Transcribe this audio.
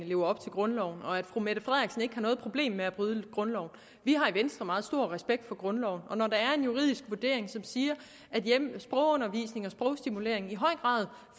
lever op til grundloven og at fru mette frederiksen ikke har noget problem med at bryde grundloven vi har i venstre meget stor respekt for grundloven og når der er en juridisk vurdering som siger at sprogundervisning og sprogstimulering i høj grad